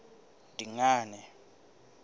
dingane